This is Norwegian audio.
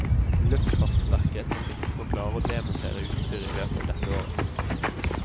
Luftfartsverket tar sikte på å klare å demontere utstyret i løpet av dette året.